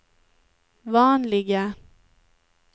vanliga